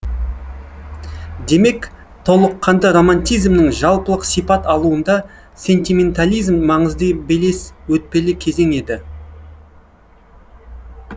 демек толыққанды романтизмнің жалпылық сипат алуында сентиментализм маңызды белес өтпелі кезең еді